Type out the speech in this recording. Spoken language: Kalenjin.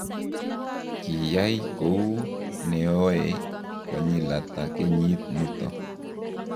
kiyai kou noe konyil ata kenyit nito?